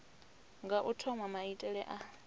nga u thoma maitele a